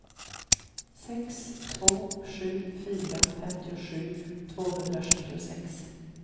sex två sju fyra femtiosju tvåhundrasjuttiosex